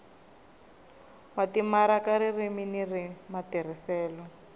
wa timaraka ririmi ni matirhiselo